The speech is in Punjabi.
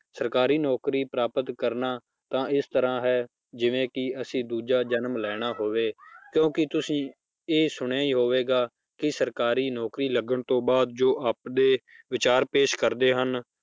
ਸਰਕਾਰੀ ਨੌਕਰੀ ਪ੍ਰਾਪਤ ਕਰਨਾ ਤਾਂ ਇਸ ਤਰ੍ਹਾਂ ਹੈ ਜਿਵੇਂ ਕਿ ਅਸੀਂ ਦੂਜਾ ਜਨਮ ਲੈਣਾ ਹੋਵੇ ਕਿਉਂਕਿ ਤੁਸੀਂ ਇਹ ਸੁਣਿਆ ਹੀ ਹੋਵੇ ਕਿ ਸਰਕਾਰੀ ਨੌਕਰੀ ਲੱਗਣ ਤੋਂ ਬਾਅਦ ਜੋ ਆਪਦੇ ਵਿਚਾਰ ਪੇਸ਼ ਕਰਦੇ ਹਨ